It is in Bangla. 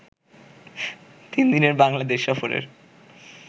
তিন দিনের বাংলাদেশ সফরের